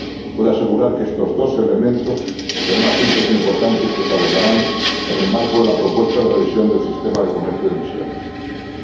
Puedo asegurar que estos dos elementos serán asuntos importantes que se abordarán en el marco de la propuesta de revisión del Régimen de Comercio de Derechos de Emisión.